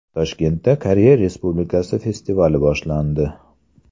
Toshkentda Koreya Respublikasi festivali boshlandi.